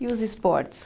E os esportes?